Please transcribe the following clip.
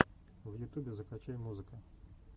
в ютубе закачай музыка